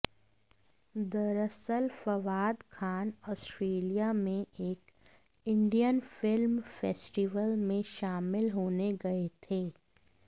दरअसल फवाद खान ऑस्ट्रेलिया में एक इंडियन फिल्म फेस्टिवल में शामिल होने गए थे